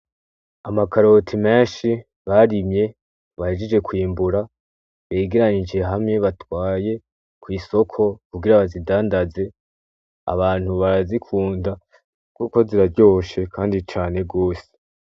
Amakaroti menshi barimye, bahejeje kwimbura, begeranije hamwe batwaye ku isoko kugira bazidandaze. Abantu barazikunda kuko ziraryoshe kandi cane rwose.